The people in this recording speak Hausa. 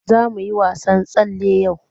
Za mu yi wasan tsalle yau.